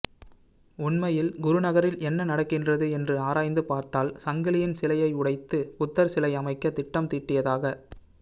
உண்மையில் குருநகரில் என்ன நடக்கின்றது என்று ஆராய்ந்து பார்த்தால் சங்கிலியன் சிலையை உடைத்து புத்தர் சிலை அமைக்க திட்டம் தீட்டியதாக